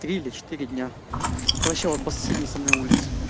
три или четыре дня это вообще вот по соседней со мной улице